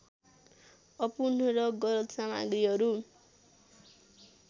अपूर्ण र गलत सामग्रीहरू